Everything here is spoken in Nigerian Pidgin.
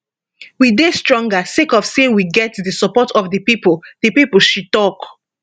we dey stronger sake of say we get di support of di pipo di pipo she tok